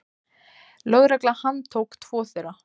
Lögregla handtók tvo þeirra.